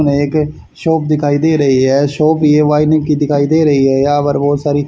हमे एक शॉप दिखाई दे रही है शॉप ये दिखाई दे रही है यहा पर बहोत सारी--